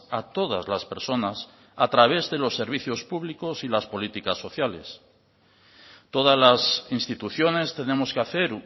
a todas las personas a través de los servicios públicos y las políticas sociales todas las instituciones tenemos que hacer